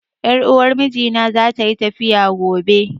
Ƴar uwar mijina za ta yi tafiya gobe